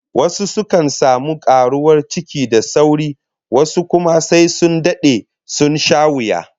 Wasu sukan samu karuwar ciki da sauri, wasu kuwa sai sun dade, sun sha wuya